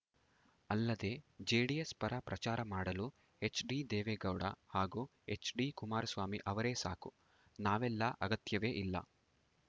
ಅಲ್ಲದೆ ಜೆಡಿಎಸ್‌ ಪರ ಪ್ರಚಾರ ಮಾಡಲು ಎಚ್‌ಡಿ ದೇವೇಗೌಡ ಹಾಗೂ ಎಚ್‌ಡಿ ಕುಮಾರಸ್ವಾಮಿ ಅವರೇ ಸಾಕು ನಾವೆಲ್ಲಾ ಅಗತ್ಯವೇ ಇಲ್ಲ